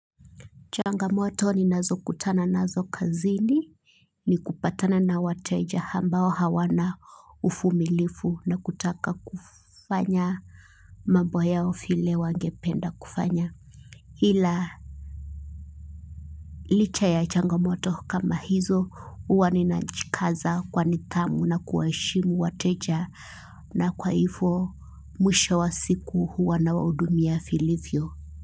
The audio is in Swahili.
Changamoto ninazo kutana nazo kazini ni kupatana na wateja ambao hawana ufumilifu na kutaka kufanya mabo yao file wangependa kufanya. Hila licha ya changamoto kama hizo uwa ninajikaza kwa nithamu na kuwaheshimu wateja nakwa hifo mwisho wa siku huwa nawahudumia filifyo.